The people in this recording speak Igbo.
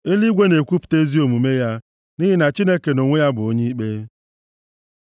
Eluigwe na-ekwupụta ezi omume ya, nʼihi na Chineke nʼonwe ya bụ onye ikpe. Sela